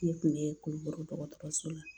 Ne kun be Kulukoro dɔgɔtɔrɔso la